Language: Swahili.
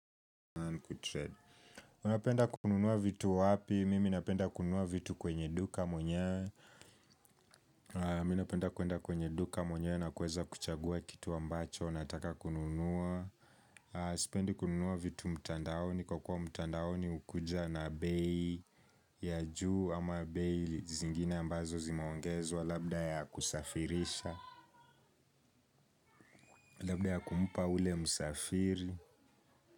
Unapenda kununua vitu wapi, mimi napenda kununua vitu kwenye duka mwenyewe. Mi napenda kuenda kwenye duka mwenyewe na kuweza kuchagua kitu ambacho nataka kununua, sipendi kununua vitu mtandaoni. Kwa kuwa mtandaoni ukuja na bei ya juu ama bei zingine ambazo zimaongezwa labda ya kusafirisha, labda ya kumupa ule msafiri.